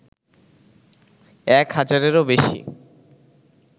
এক হাজারেরও বেশি